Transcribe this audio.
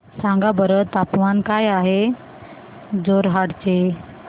सांगा बरं तापमान काय आहे जोरहाट चे